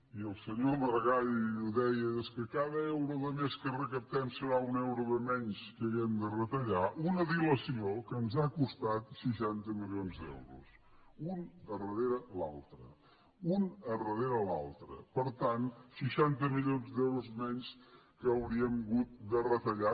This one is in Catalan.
i el senyor maragall ho deia és que cada euro de més que recaptem serà un euro de menys que haurem de retallar una dilació que ens ha costat seixanta milions d’euros un darrere l’altre un darrere l’altre per tant seixanta milions d’euros menys que hauríem hagut de retallar